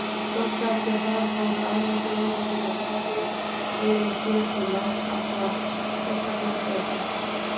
Fljótlega eftir það fóru aðrar þjóðir að sýna lúðuveiðum hér við land áhuga, sérstaklega Bretar.